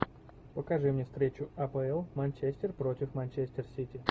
покажи мне встречу апл манчестер против манчестер сити